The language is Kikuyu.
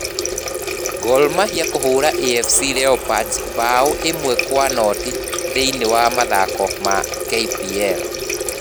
Gor Mahia kũhũũra AFC Leopards mbaũ ĩmwe kwa noti thĩiniĩ wa mathako ma KPL